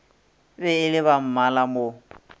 be e le bammala mo